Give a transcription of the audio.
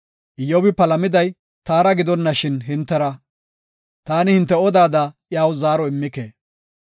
Iyyobi palamiday taara gidonashin hintera; taani hinte odada iyaw zaaro immike.